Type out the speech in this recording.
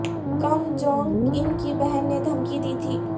کم Jong Un کی بہن نے دھمکی دی تھی